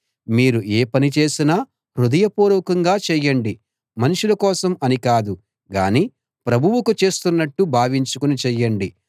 మీరు ఏ పని చేసినా హృదయపూర్వకంగా చేయండి మనుషుల కోసం అని కాదు గానీ ప్రభువుకు చేస్తున్నట్లు భావించుకుని చేయండి